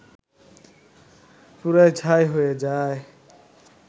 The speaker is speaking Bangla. পুড়ে ছাই হয়ে যায়